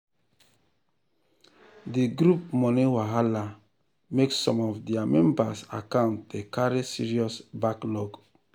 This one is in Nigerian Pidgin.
the group money wahala make some of their members accounts dey carry serious backlog.